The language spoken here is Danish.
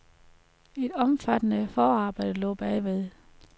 Et omfattende forarbejde lå bagved.